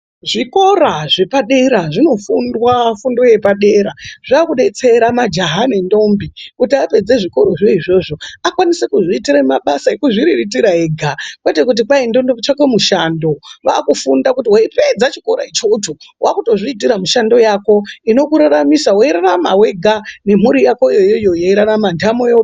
Zvikora zvepadera zvinofundwa fundo yepadera zvakudetsera majaha nendombi kuti apedze zvikorozvo izvozvo akwanise kuzviitira mabasa ekuzviriritira ega kwete kuti kwai ndode kutsvake mushando kwakutofunda kuti weipedza chikora ichocho wakutozviitira mishando yako inokuraramisa weirarama wega nemhuri yakoyo yeirarama ntamo yo